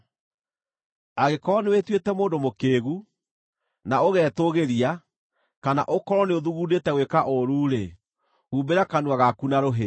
“Angĩkorwo nĩwĩtuĩte mũndũ mũkĩĩgu, na ũgetũũgĩria, kana ũkorwo nĩũthugundĩte gwĩka ũũru-rĩ, humbĩra kanua gaku na rũhĩ!